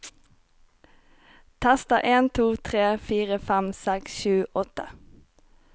Tester en to tre fire fem seks sju åtte